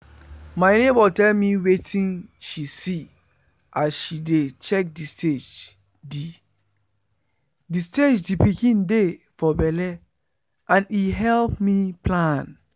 my neighbour tell me wetin she see as she dey check the stage the the stage the pikin dey for belle and e help me plan